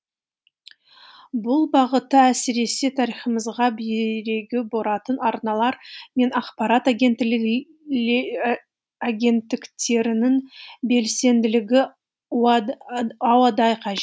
бұл бағытта әсіресе тарихымызға бүйрегі бұратын арналар мен ақпарат агенттіктерінің белсенділігі ауадай қажет